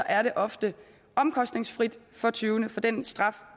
er det ofte omkostningsfrit for tyvene for den straf